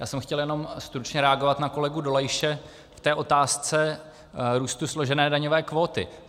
Já jsem chtěl jenom stručně reagovat na kolegu Dolejše v té otázce růstu složené daňové kvóty.